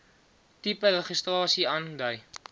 tipe registrasie aandui